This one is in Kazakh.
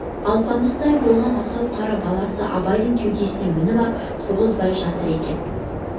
алпамсадай болған асау қара баласы абайдың кеудесіне мініп ап тұрғызбай жатыр екен